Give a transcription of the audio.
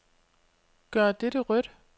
Gør dette rødt.